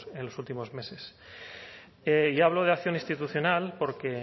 en los últimos meses yo hablo de acción institucional porque